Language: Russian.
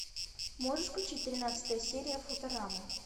можешь включить тринадцатая серия футурама